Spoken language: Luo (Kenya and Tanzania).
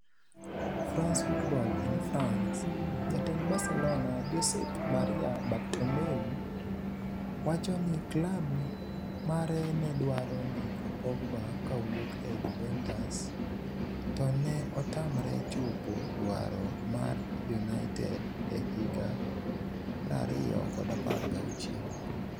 (France Football - in France) Jatend Barcelona, ​​Josep Maria Bartomeu, wacho ni klab mare ne dwaro ndiko Pogba kowuok e Juventus to ne otamre chopo dwaro mar United e higa 2016.